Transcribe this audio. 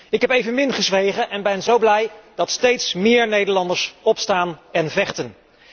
Ik heb evenmin gezwegen en ben zo blij dat steeds meer Nederlanders opstaan en vechten.